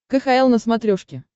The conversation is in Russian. кхл на смотрешке